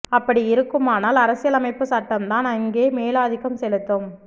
அப்படி இருக்குமானால் அரசியல் அமைப்பு சட்டம்தான் அங்கே மேலாதிக்கம் செலுத்தும்